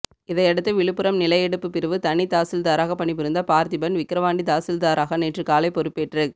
இதையடுத்து விழுப்புரம் நில எடுப்பு பிரிவு தனி தாசில்தாராக பணிபுரிந்த பார்த்திபன் விக்கிரவாண்டி தாசில்தாராக நேற்று காலை பொறுப்பேற்றுக்